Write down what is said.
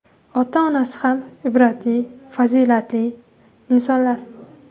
Ota-onasi ham ibratli, fazilatli insonlar.